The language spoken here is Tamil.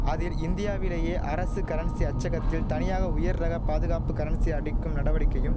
அதில் இந்தியாவிலேயே அரசு கரன்சி அச்சகத்தில் தனியாக உயர் ரக பாதுகாப்பு கரன்சி அடிக்கும் நடவடிக்கையும்